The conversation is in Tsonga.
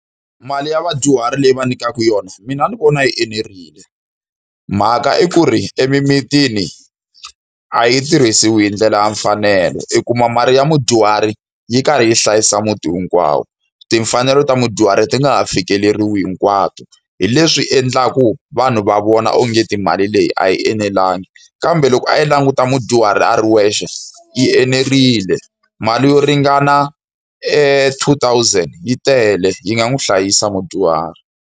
Mali ya vadyuhari leyi va nyikiwaka yona mina ni vona yi enerile. Mhaka i ku ri emimitini a yi tirhisiwi hi ndlela ya mfanelo. I kuma mali ya mudyuhari yi karhi yi hlayisa muti hinkwawo, timfanelo ta mudyuhari ti nga ha fikeleriwi hinkwato. Hi leswi endlaka vanhu va vona ongeti mali leyi a yi enelangi. Kambe loko a yi languta mudyuhari a ri wexe, yi enerile. Mali yo ringana two thousand yi tele, yi nga n'wi hlayisa mudyuhari.